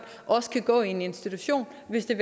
også kan gå i en institution hvis det